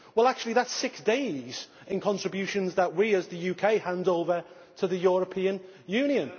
That is actually six days in contributions that we as the UK hand over to the European Union.